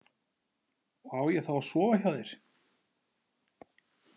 Og á ég þá að sofa hjá þér?